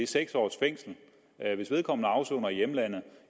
seks års fængsel hvis vedkommende afsoner i hjemlandet